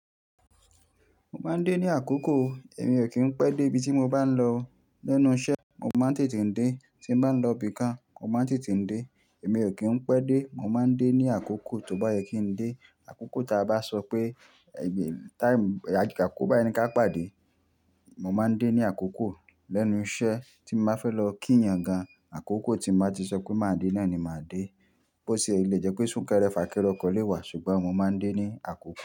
Mo máa ń dé ní àkókò, èmi ò kí ń pẹ́ dé ibi tí mo bá ń lọ. Lẹ́nu iṣẹ́, mo máa ń tètè dé, tí mo bá ń lọ ibi kan, mo máa ń tètè dé. Èmi ò kí ń pẹ́ dé, mo máa ń dé ní àkókò, tó bá yẹ kí ń dé. Àkókò ta bá sọ pé, time, àkókò báyìí ni ká pàdé, mo máa ń dé ní àkókò. Lẹ́nu iṣẹ́ tí n bá fẹ́ lọ kí èèyàn gan, àkókò tí mo bá ti sọ pé màá dé náà ni màá dé. Bó ṣe lé jẹ́ pé sún kẹ́rẹ́ fà kẹ́rẹ́ ọkọ̀ lé wa, ṣùgbọ́n mo máa ń dé ní àkókò.